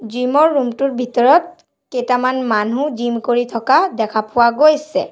Gym ৰ room টোৰ ভিতৰত কেইটামান মানুহ জিম কৰি থকা দেখা পোৱা গৈছে।